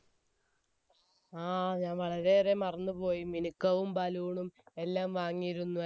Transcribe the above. ആ ഞാൻ വളരെ ഏറെ മറന്നു പോയി മിനിക്കവും ബലൂണും എല്ലാം വാങ്ങിയിരുന്നു